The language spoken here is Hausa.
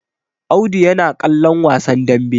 Audu yana ƙallon wasan dambe